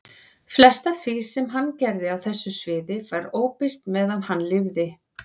Flest af því sem hann gerði á þessu sviði var óbirt meðan hann lifði.